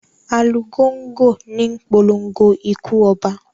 Alugongo níi polongo ikú oba.